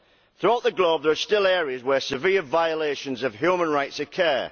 Throughout the globe there is still areas where severe violations of human rights occur.